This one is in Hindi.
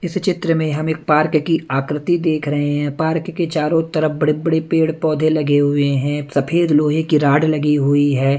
इस चित्र में हमें पार्क की आकृति देख रहे हैं पार्क के चारों तरफ बड़े बड़े पेड़ पौधे लगे हुए हैं सफेद लोहे की रॉड लगी हुई है।